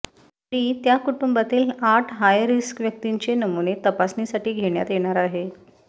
तरी त्या कुटुंबातील आठ हायरिक्स व्यक्तींनचे नमुने तपासणीसाठी घेण्यात येणार आहेत